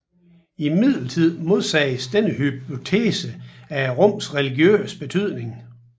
Imidlertid modsiges denne hypotese af rummets religiøse betydning